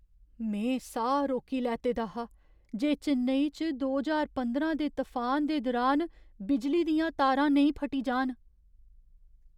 में साह् रोकी लैते दा हा जे चेन्नई च दो ज्हार पंदरां दे तफान दे दुरान बिजली दियां तारां नेईं फटी जान।